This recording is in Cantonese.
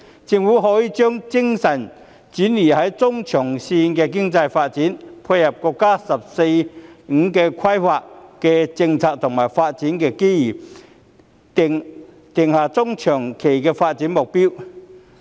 政府可以將精神轉移至中長線的經濟發展，配合國家"十四五"規劃的政策和發展機遇，定下中長期的發展目標。